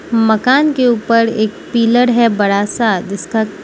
मकान के ऊपर एक पिलर है बड़ा सा जिसका --